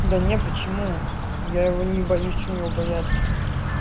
да нт почему я его не боюсь что мне его бояться